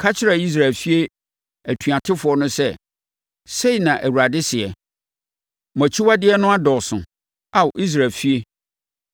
Ka kyerɛ Israel efie atuatefoɔ no sɛ, ‘Sei na Awurade seɛ: Mo akyiwadeɛ no adɔɔso, Ao Israel efie!